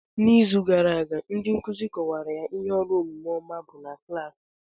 N'izu gara aga ndị nkuzi kọwara ihe ọrụ omume ọma bụ na klaasị.